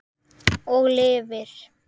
Og lifir.